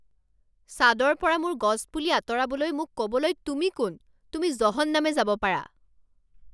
ছাদৰ পৰা মোৰ গছপুলি আঁতৰাবলৈ মোক ক'বলৈ তুমি কোন? তুমি জহন্নামে যাব পাৰা